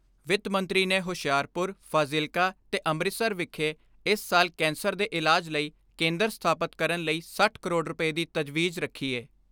ਵਿੱਤ ਮੰਤਰੀ ਨੇ ਹੁਸ਼ਿਆਰਪੁਰ, ਫਾਜ਼ਿਲਕਾ ਤੇ ਅੰਮ੍ਰਿਤਸਰ ਵਿਖੇ ਇਸ ਸਾਲ ਕੈਂਸਰ ਦੇ ਇਲਾਜ ਲਈ ਕੇਂਦਰ ਸਥਾਪਤ ਕਰਨ ਲਈ ਸੱਠ ਕਰੋੜ ਰੁਪਏ ਦੀ ਤਜਵੀਜ਼ ਰੱਖੀ ਏ।